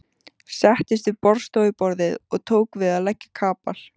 Settist við borðstofuborðið og tók til við að leggja kapal.